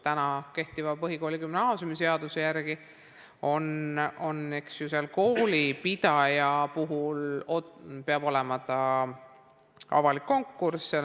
Kehtiva põhikooli- ja gümnaasiumiseaduse järgi peab olema avalik konkurss.